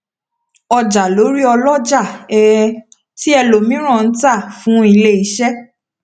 ọjà lórí ọlọjà um ti ẹlòmíràn n ta fún iléiṣẹ